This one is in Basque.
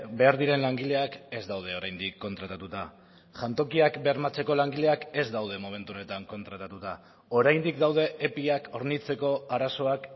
behar diren langileak ez daude oraindik kontratatuta jantokiak bermatzeko langileak ez daude momentu honetan kontratatuta oraindik daude epiak hornitzeko arazoak